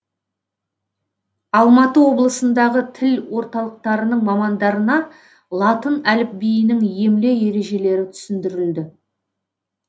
алматы облысындағы тіл орталықтарының мамандарына латын әліпбиінің емле ережелері түсіндірілді